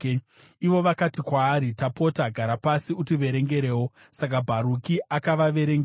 Ivo vakati kwaari, “Tapota, gara pasi utiverengerewo.” Saka Bharuki akavaverengera.